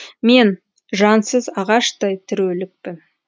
мен жансыз ағаштай тірі өлікпін